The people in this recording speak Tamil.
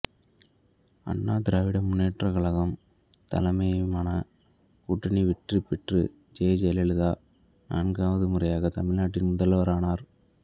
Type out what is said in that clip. அண்ணா திராவிட முன்னேற்றக் கழகம் தலைமையிலான கூட்டணி வெற்றி பெற்று ஜெ ஜெயலலிதா நான்காவது முறையாக தமிழ்நாட்டின் முதல்வரானார்